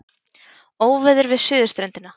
Óveður við suðurströndina